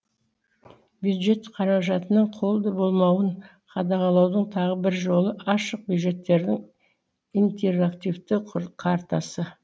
бюджет қаражатының қолды болмауын қадағалаудың тағы бір жолы ашық бюджеттердің интерактивті картасы